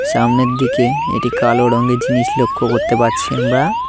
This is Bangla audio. সামনের দিকে একটি কালো রঙের জিনিস লক্ষ করতে পারছি আমরা।